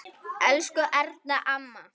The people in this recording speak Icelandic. Elsku Erna amma.